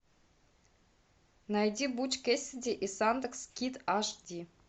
найди буч кэссиди и сандэнс кид аш ди